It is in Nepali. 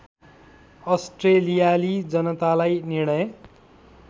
अस्ट्रेलियाली जनतालाई निर्णय